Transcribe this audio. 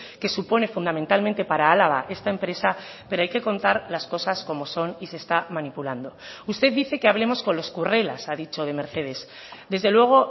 que supone fundamentalmente para álava esta empresa pero hay que contar las cosas como son y se está manipulando usted dice que hablemos con los currelas a dicho de mercedes desde luego